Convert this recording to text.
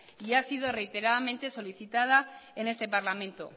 y ha sido reiteradamente solicitada en este parlamento